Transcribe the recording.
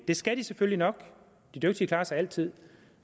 det skal de selvfølgelig nok de dygtige klarer sig altid